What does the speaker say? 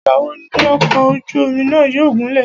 Ìgbà wo ni ọ̀kọ̀ ojú omi náà yóò gúnlẹ̀?